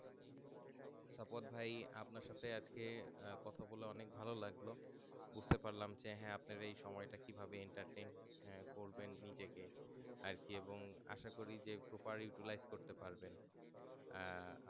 সফদ ভাই আপনার সাথে আজকে কথা বলে অনেক ভালো লাগলো বুজতে পারলাম যে আপনার এই সময় তা কি ভাবে entertain করবে নিজেকে আরকি এবং আশা করি যে এই গুলাই করতে পারবেন আহ